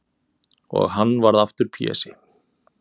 Og hann varð aftur Pési.